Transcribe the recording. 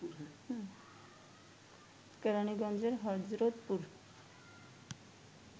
কেরাণীগঞ্জের Hazratpur